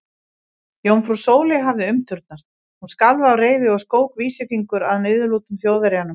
Jómfrú Sóley hafði umturnast, hún skalf af reiði og skók vísifingur að niðurlútum Þjóðverjanum.